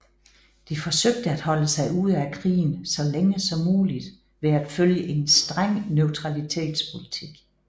De forsøgte at holde sig ude af krigen så længe som muligt ved at følge en streng neutralitetspolitik